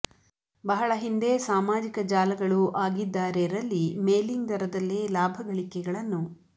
ಬಹಳ ಹಿಂದೆ ಸಾಮಾಜಿಕ ಜಾಲಗಳು ಆಗಿದ್ದಾರೆ ರಲ್ಲಿ ಮೇಲಿಂಗ್ ದರದಲ್ಲೇ ಲಾಭಗಳಿಕೆಗಳನ್ನು